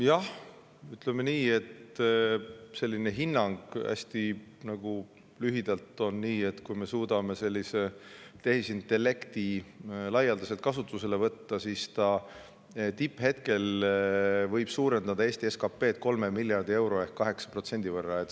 Jah, ütleme nii, et hinnang hästi lühidalt on selline, et kui me suudame tehisintellekti laialdaselt kasutusele võtta, siis võib see tipphetkel suurendada Eesti SKP-d 3 miljardi euro ehk 8% võrra.